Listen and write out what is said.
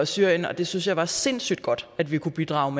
syrien og det synes jeg var sindssyg godt at vi kunne bidrage